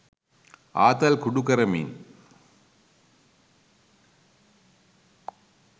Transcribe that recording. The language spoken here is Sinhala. ආතල් කුඩු කරමින්